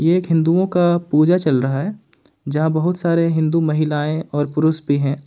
ये एक हिंदुओं का पूजा चल रहा है जहां बहुत सारे हिंदू महिलाएं और पुरुष भी हैं।